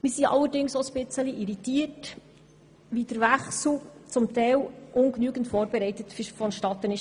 Wir sind jedoch auch ein wenig irritiert darüber, dass der Wechsel teilweise nach ungenügender Vorbereitung vonstattenging.